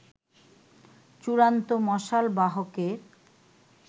চূড়ান্ত মশাল বাহকের